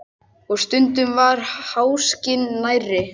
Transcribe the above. Og stundum var háskinn nærri.